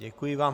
Děkuji vám.